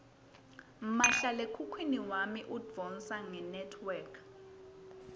mahlalekhukhwini wami udvonsa ngenetwork